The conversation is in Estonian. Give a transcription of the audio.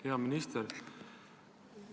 Hea minister!